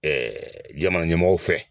jamana ɲɛmɔgɔw fɛ